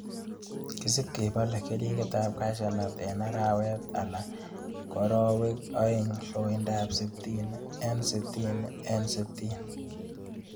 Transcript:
Kisib kebole keringoikab cashew nut en arawet ala koorowek oeng' loindab sitin en sitini en sitini